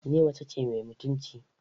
Ni mace ce mai mutunci.